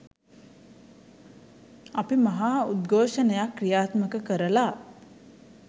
අපි මහා උද්ඝෝෂණයක් ක්‍රියාත්මක කරලා